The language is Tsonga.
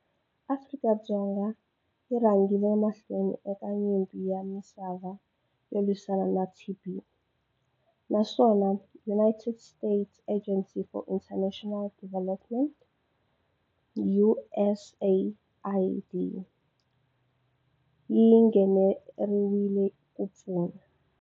Afrika-Dzonga yi rhangile emahlweni eka nyimpi ya misava yo lwisana na TB, naswona United States Agency for International Development, USAID, yi nghenelrile ku pfuna.